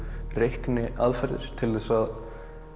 reikniaðferðir til þess að